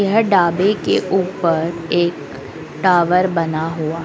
यह ढाबे के ऊपर एक टावर बना हुआ--